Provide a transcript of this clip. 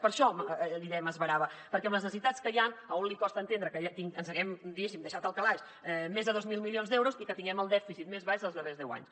per això li deia que m’esverava perquè amb les necessitats que hi han a un li costa entendre que ens haguem diguéssim deixat al calaix més de dos mil milions d’euros i que tinguem el dèficit més baix dels darrers deu anys